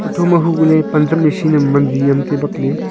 thoma hukohley pan zam machine yam wanziam taibak ley.